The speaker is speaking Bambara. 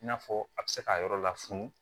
I n'a fɔ a bɛ se k'a yɔrɔ la funun